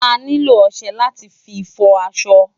Ániló òṣè láti fi fò aṣọ